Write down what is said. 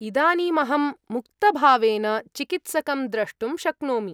इदानीमहं मुक्तभावेन चिकित्सकं द्रष्टुं शक्नोमि।